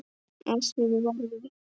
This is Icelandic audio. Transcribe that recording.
Af því varð ekki.